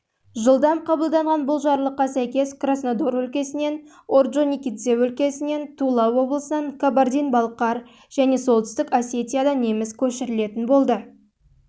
жылдам қабылданған бұл жарлыққа сәйкес краснодар өлкесінен орджоникидзе өлкесінен тула облысынан кабардин-балқар солтүстік осетия неміс көшірілетін болды